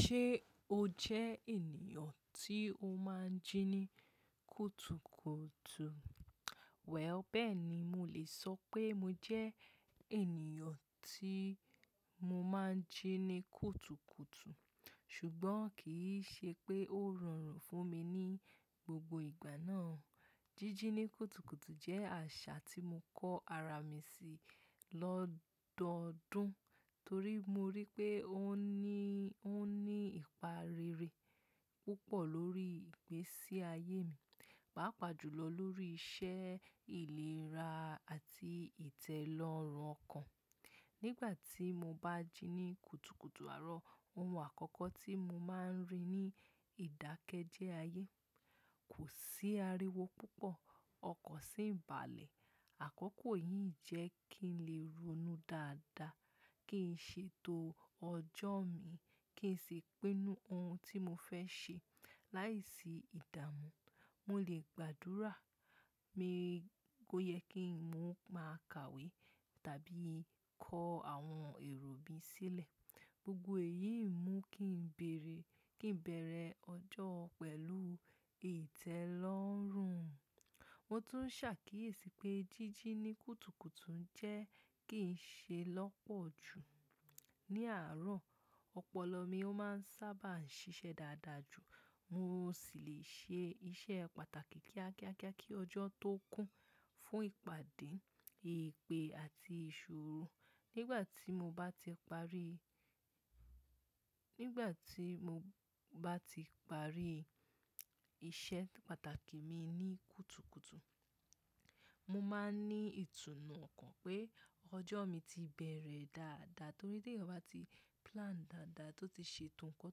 Ṣé o jẹ́ ènìyàn tí o máa ń jí ní kùtùkùtù? Well, bẹ́ẹ̀ ni. Mo lè sọ pé mo jẹ́ ènìyàn tí mo máa ń jí ní kùtùkùtù, ṣùgbọ́n kì í ṣe pé ó rọrùn fún mi ní gbogbo ìgbà náà. Jíjí ní kùtùkùtù jẹ́ àṣà tí mo kọ́ ara mi sí lọ́dọọdún torí mo rí i pé ó ní, ó ní ìparere púpọ̀ lórí ìgbésí ayé mi, pàápàá jùlọ lórí iṣẹ́, ìlera àti ìtẹ́lọ́rùn ọkàn. Nígbà tí mo bá jí ní kùtùkùtù àárọ̀, ohun àkọ́kọ́ tí mo máa ń rí ní ìdákẹ́jẹ́ ayé. Kò sí ariwo púpọ̀, ọkan sì ń ba'lẹ̀. Àkọ́kọ́ yìí ń jẹ́ kí n lè ronú dáadáa, kí n ṣètò ọjọ́ mi, kí n sì pinu ohun tí mo fẹ́ ṣe. Láìsí ìdààmú, mo lè gbàdúrà, pe o yè kí n máa ka ìwé tàbí kọ́ àwọn èrò mi sílẹ̀. Gbogbo èyí ń mú kí n bèèrè, kí n bẹ̀rẹ̀ ọjọ́ pẹ̀lú ìtẹ́lọ́rùn. Mo tún ṣàkíyèsí pé jíjí ní kùtùkùtù ń jẹ́ kí n ṣe lọ́pọ̀ ju. Ní àárọ̀, ọpọlọ mi ó máa ń sábà ń ṣiṣẹ́ dáadáa jù, mo sì lè ṣe iṣẹ́ pàtàkì kíákíákíá kí ọjọ́ tó kún, fún ìpàdé, ìpè àti ìṣòro. Nígbà tí mo bá ti parí, nígbà tí mo bá ti parí iṣẹ́ pàtàkì mi ní kùtùkùtù, mo máa ń ní ìtùnú ọkàn pé ọjọ́ mi ti bẹ̀rẹ̀ dáadáa torí pé te'yan ba ti plan dáadáa tó ti ṣètò nǹkan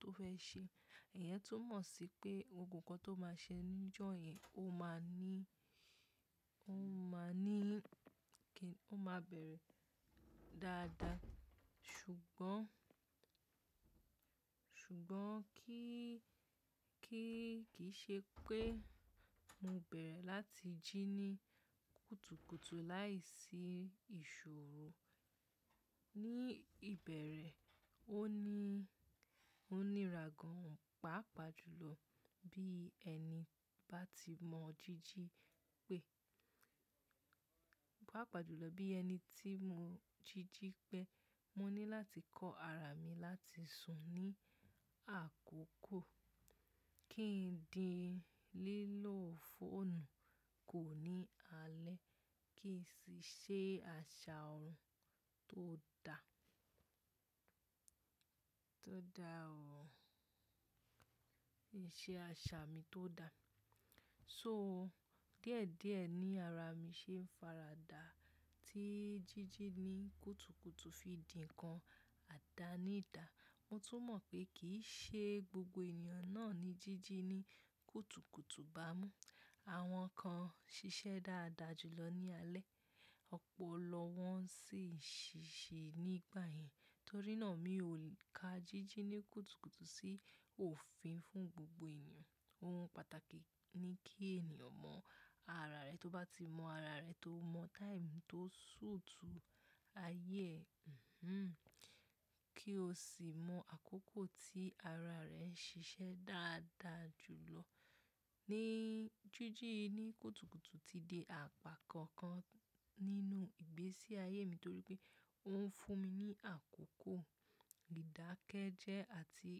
tó fẹ́ ṣe. Ìyẹn tún mọ̀ sí pé ohunkóhun tó máa ṣe ní ọjọ́ yẹn ó máa ní, ó máa ní kí, ó máa bẹ̀rẹ̀ dáadáa. Ṣùgbọ́n, ṣùgbọ́n kí, kí kì í ṣe pé mo bẹ̀rẹ̀ láti jí ní kùtùkùtù láìsí ìṣòro. Ní ìbẹ̀rẹ̀, ó ní, ó níra gan pàápàá jùlọ bí ẹni bá ti mọ jíjí pé, pàápàá jùlọ bí ẹni tí mo jíjí pé. Mo ní láti kọ́ ara mi láti sùn ní àkókò, kí n di lílọ́ fóònù kò ní alẹ́, kí n sì ṣe àṣà ohun tó da, tó da ọ̀, ṣe àṣà mi tó da. So díẹ̀díẹ̀ ní ara mi ṣe ń faradà tí jíjí ní kùtùkùtù fi dì ń kan àdáni dà. Mo tún mọ̀ pé kì í ṣe gbogbo ènìyàn náà ni jíjí ní kùtùkùtù bá mú. Àwọn kan ṣiṣẹ́ dáadáa jùlọ ní alẹ́, ọ̀pọ̀ lọ wọ́n sì ṣíṣe nígbà yẹn. Torí náà mi ò ka jíjí ní kùtùkùtù sí òfin fún gbogbo ènìyàn. Ohun pàtàkì ni kí ènìyàn mọ ara rẹ̀. Tó bá ti mọ ara rẹ̀, tó mọ time tó sùtù ayé, kí o sì mọ àkókò tí ara rẹ̀ ń ṣiṣẹ́ dáadáa jù lọ. Ní jíjí ní kùtùkùtù ti di àpá kan kan nínú ìgbésí ayé mi torí pé ó ń fún mi ní àkókò ìdákẹ́jẹ́ àti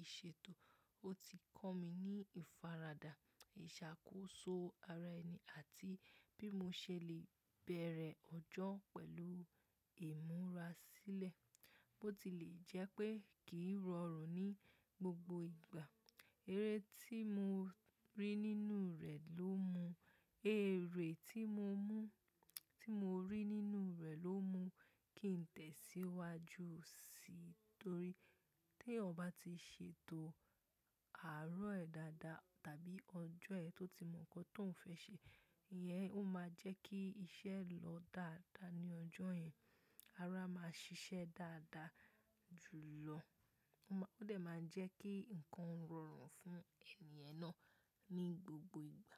ìṣètò. Ó ti kọ́ mi ní ìfaradà ìṣàkóso ara ẹni àti bí mo ṣe lè bẹ̀rẹ̀ ọjọ́ pẹ̀lú ìmúra sílẹ̀. Bó ti lè jẹ́ pé kì í rọrùn ní gbogbo ìgbà, eré tí mo rí nínú rẹ̀ ló mú, eré tí mo mú, tí mo rí nínú rẹ̀ ló mú kí n tẹ̀síwájú sí i torí tí'yan ọ ba ti ṣètò àárọ̀ ẹ dáadáa tàbí ọjọ́ ẹ tó ti mọ nǹkan tó ń fẹ́ ṣe, ìyẹn ó máa jẹ́ kí iṣẹ́ lọ dáadáa ní ọjọ́ yẹn. Ara máa ṣiṣẹ́ dáadáa jùlọ. Ó máa, ó dè máa ń jẹ́ kí ǹkan ó rọrùn fún ènìyàn náà ní gbogbo ìgbà.